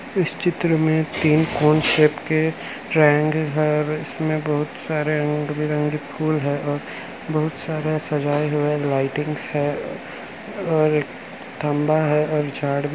इस चित्र में तीन कौन शेप के ट्रायंगल है इसमें बहुत सारे रंग-बिरंगे फूल है और बहुत सारा सजा हुई लाइटिंग है और तांबा है और चार्ट भी--